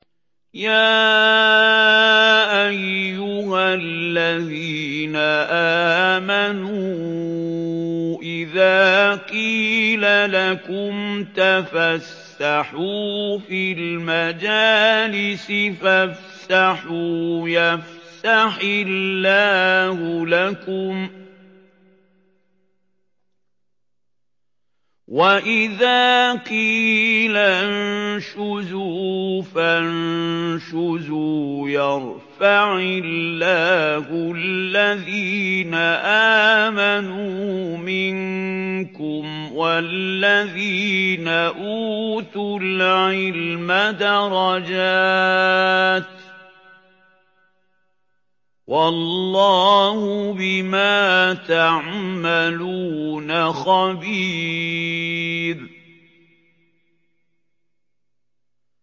يَا أَيُّهَا الَّذِينَ آمَنُوا إِذَا قِيلَ لَكُمْ تَفَسَّحُوا فِي الْمَجَالِسِ فَافْسَحُوا يَفْسَحِ اللَّهُ لَكُمْ ۖ وَإِذَا قِيلَ انشُزُوا فَانشُزُوا يَرْفَعِ اللَّهُ الَّذِينَ آمَنُوا مِنكُمْ وَالَّذِينَ أُوتُوا الْعِلْمَ دَرَجَاتٍ ۚ وَاللَّهُ بِمَا تَعْمَلُونَ خَبِيرٌ